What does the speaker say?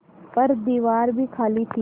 पर दीवार खाली थी